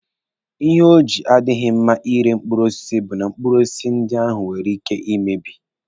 Ihe o ji odighi mma ire mkpụrụ osisi bụ na mkpụrụ osisi ndị ahụ nwere ike ị mebi.